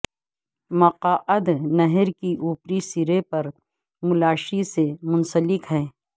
مقعد نہر کے اوپری سرے پر ملاشی سے منسلک ہے